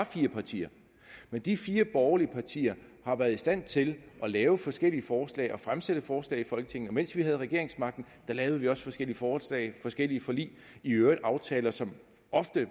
fire partier men de fire borgerlige partier har været i stand til at lave forskellige forslag og fremsætte forslag i folketinget og mens vi havde regeringsmagten lavede vi også forskellige forslag forskellige forlig i øvrigt aftaler som ofte